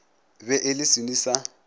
be e le senwi sa